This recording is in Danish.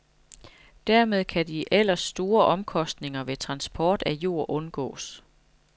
Dermed kan de ellers store omkostninger ved transport af jord undgås.